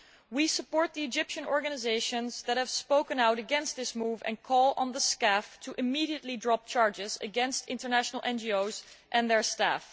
We support the Egyptian organisations that have spoken out against this move and call on the SCAF immediately to drop charges against international NGOs and their staff.